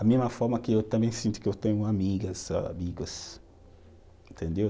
Da mesma forma que eu também sinto que eu tenho amigas, amigos. Entendeu?